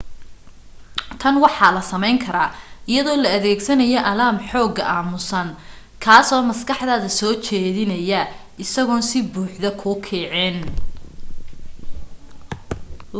tan waxa la samayn karaa iyadoo la adeegsanayo alaam xooga aamusan kaasoo maskaxdaada soo jeedinaya isagoon si buuxda kuu kicinayn